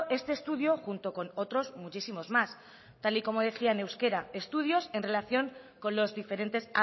este estudio junto con otros muchísimos más tal y como decía en euskara estudios en relación con los diferentes